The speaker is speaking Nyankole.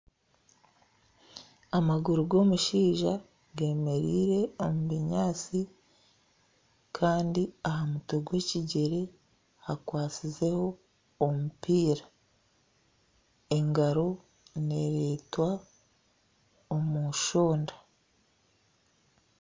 Amaguru g'omushaija g'emereire omu binyaatsi kandi aha mutwe gw'ekigyere hakwatsizeho omupiira engaro neeretwa omushonda